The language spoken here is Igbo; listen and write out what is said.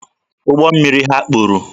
Ụgbọ mmiri ha kpuru